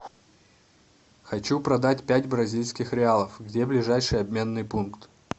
хочу продать пять бразильских реалов где ближайший обменный пункт